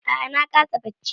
A'a na kasa bacci.